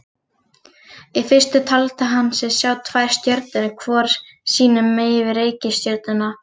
Í fyrstu taldi hann sig sjá tvær stjörnur hvor sínu megin við reikistjörnuna.